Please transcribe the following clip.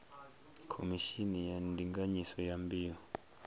khomishini ya ndinganyiso ya mbeu